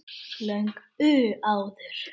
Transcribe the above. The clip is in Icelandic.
Löngu áður.